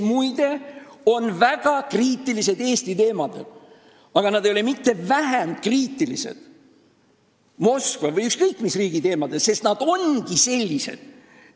Muide, nad on väga kriitilised Eesti teemadel, aga nad ei ole mitte vähem kriitilised Moskva või ükskõik mis riigi teemadel, sest nad ongi sellised.